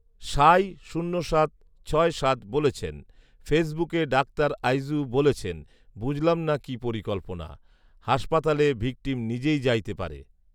সাঈ শূন্য সাত ছয় সাত বলেছেন, ফেসবুকে ডাক্তার আইজু বলেছেন, "বুঝলাম না কি পরিকল্পনা। হাসপাতালে ভিকটিম নিজেই যাইতে পারে"।